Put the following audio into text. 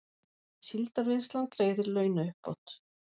Síldarvinnslan greiðir launauppbót